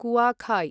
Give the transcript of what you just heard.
Kuakhai